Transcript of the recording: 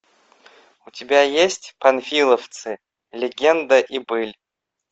у тебя есть панфиловцы легенда и быль